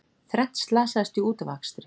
Þrennt slasaðist í útafakstri